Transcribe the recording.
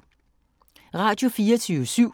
Radio24syv